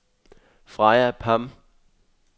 Freja Pham